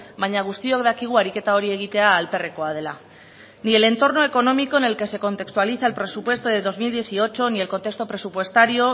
baina guztiok dakigu ariketa hori egitea alperrekoa dela ni el entorno económico en el que se contextualiza el presupuesto de dos mil dieciocho ni el contexto presupuestario